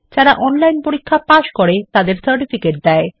যারা অনলাইন পরীক্ষা পাস করে তাদের সার্টিফিকেট দেয়